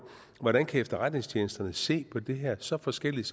hvordan kan efterretningstjenesterne se så forskelligt